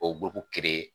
O b'o